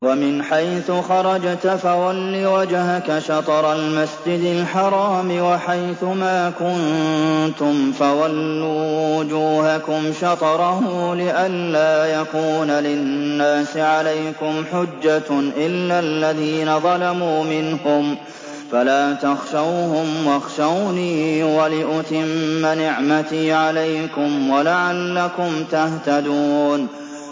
وَمِنْ حَيْثُ خَرَجْتَ فَوَلِّ وَجْهَكَ شَطْرَ الْمَسْجِدِ الْحَرَامِ ۚ وَحَيْثُ مَا كُنتُمْ فَوَلُّوا وُجُوهَكُمْ شَطْرَهُ لِئَلَّا يَكُونَ لِلنَّاسِ عَلَيْكُمْ حُجَّةٌ إِلَّا الَّذِينَ ظَلَمُوا مِنْهُمْ فَلَا تَخْشَوْهُمْ وَاخْشَوْنِي وَلِأُتِمَّ نِعْمَتِي عَلَيْكُمْ وَلَعَلَّكُمْ تَهْتَدُونَ